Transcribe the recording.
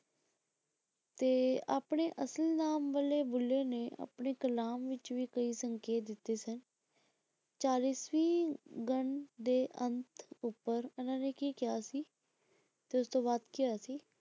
ਤੇ ਆਪਣੇ ਅਸਲ ਨਾਮ ਵਾਲੇ ਬੁੱਲੇ ਨੇ ਆਪਣੀ ਕਲਾਮ ਵਿੱਚ ਵੀ ਕਈ ਸੰਕੇਤ ਦਿੱਤੇ ਸਨ ਚਾਲੀਸਵੀਂ ਗਨ ਦੇ ਅੰਤ ਉੱਪਰ ਇਹਨਾਂ ਨੇ ਕੀ ਕਿਹਾ ਸੀ ਤੇ ਉਸਤੋਂ ਬਾਅਦ ਕੀ ਹੋਇਆ ਸੀ।